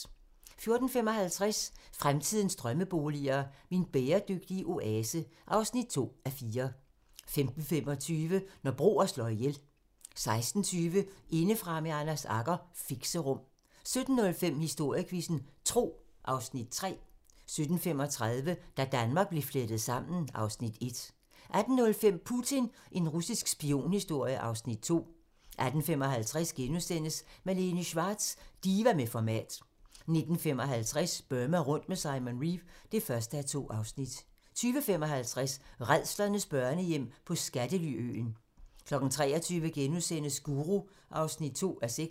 14:55: Fremtidens drømmeboliger: Min bæredygtige oase (2:4) 15:25: Når broer slår ihjel 16:20: Indefra med Anders Agger - Fixerum 17:05: Historiequizzen: Tro (Afs. 3) 17:35: Da Danmark blev flettet sammen (Afs. 1) 18:05: Putin - en russisk spionhistorie (Afs. 2) 18:55: Malene Schwartz - diva med format * 19:55: Burma rundt med Simon Reeve (1:2) 20:55: Rædslernes børnehjem på skattely-øen 23:00: Guru (2:6)*